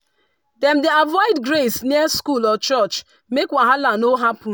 dem dey avoid graze near school or church make wahala no happen.